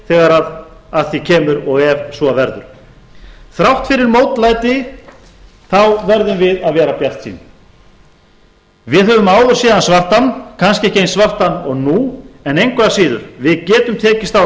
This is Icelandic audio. þegar að því kemur og ef svo verður þrátt fyrir mótlæti þá verðum við að vera bjartsýn við höfum áður séð hann svartan kannski ekki eins svartan og nú en engu að síður við getum tekist á við